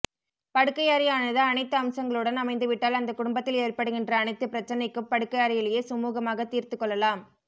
படுக்கையறையானது அனைத்து அம்சங்களுடன் அமைந்து விட்டால் அந்த குடும்பத்தில் ஏற்படுகின்ற அனைத்து பிரச்சனைக்கும் படுக்கையறையிலேயே சுமூகமாக தீர்த்துக் கொள்ளலாம்